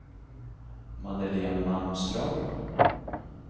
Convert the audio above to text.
Madeleine Malmström